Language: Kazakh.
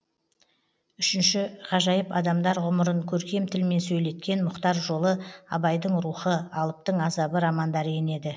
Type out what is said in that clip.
үшінші ғажайып адамдар ғұмырын көркем тілмен сөйлеткен мұхтар жолы абайдың рухы алыптың азабы романдары енеді